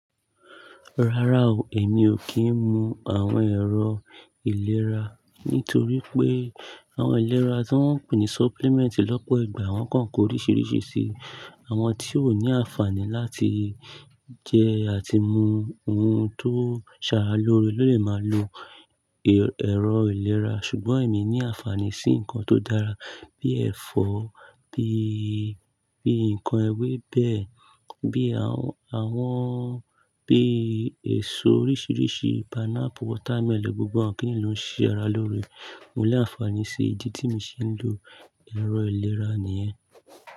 Rárá o, èmi ò kí ń mu àwọn ẹ̀rọ ìlera, nítorí pé àwọn ìlera tí wọ́n ń pè ní supplement lọ́pọ̀ ìgbà wọ́n kànko oríṣiríṣi sí i. Àwọn tí ó ní àǹfààní láti jẹ àti mu ohun tó ṣàrà lóore ló lè máa lo ẹ̀rọ ìlera. Ṣùgbọ́n èmi ní àǹfààní sí nǹkan tó dára bí ẹ̀fọ́, bí, bí ǹkan ewébẹ̀, bí àwọn, bí èso oríṣiríṣi; pineapple, watermelon gbogbo wọ́n kì í lò ń ṣe ara lóore. Mo ní àǹfààní sí ìdí tí mo ṣe ń lo ẹ̀rọ ìlera nìyẹn.